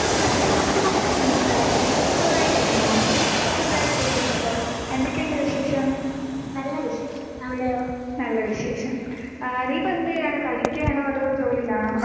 നമസ്കാരം. സുഗമായിട്ടിരിക്കുന്നോ? എന്തൊക്കെയുണ്ട് വിശേഷം? നല്ല വിശേഷം. ആ നീ ഇപ്പൊ എന്ത് ചെയ്യാണ്? പഠിക്കാണോ അതോ ജോലിയിലാണോ?